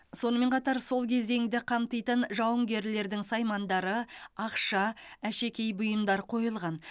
сонымен қатар сол кезеңді қамтитын жауынгерлердің саймандары ақша әшекей бұйымдар қойылған